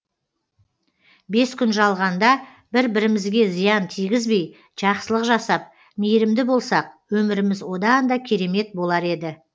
бес күн жалғанда бір бірімізге зиян тигізбей жақсылық жасап мейірімді болсақ өміріміз одан да керемет болар еді